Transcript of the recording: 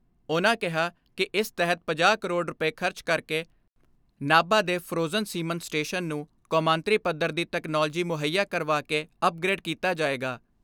ਉਨ੍ਹਾਂ ਕਿਹਾ ਕਿ ਇਸ ਤਹਿਤ ਪੰਜਾਹ ਕਰੋੜ ਰੁਪਏ ਖਰਚ ਕਰਕੇ ਨਾਭਾ ਦੇ ਫਰੋਜਨ ਸੀਮਨ ਸਟੇਸ਼ਨ ਨੂੰ ਕੌਮਾਂਤਰੀ ਪੱਧਰ ਦੀ ਤਕਨਾਲੋਜੀ ਮੁੱਹਈਆ ਕਰਵਾ ਕੇ ਅਪਗਰੇਡ ਕੀਤਾ ਜਾਏਗਾ।